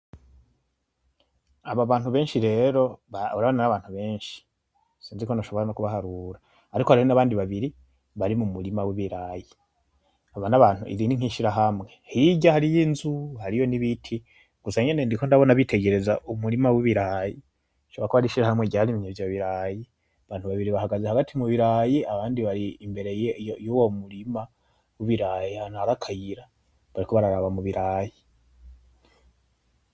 Abo bantu benshi rero urabona n'abantu benshi, sinzi ko noshobora no kubaharura. Ariko hariho n'abandi babiri bari m'umurima w'ibiraya. Abo n'abantu iri ni nk'ishirahamwe. Hirya hariho inzu, hariho n'ibiti gusa nyene ndiko ndabona bitegereza uwo murima w'ibiraya, rishobora kuba ar'ishirahamwe ryarimye ivyo biraya, abantu babiri bahagaze hagati mu birayi abandi bari imbere y'uwu murima w'ibiraya ahantu hari akayira, bariko baraba kubiraya.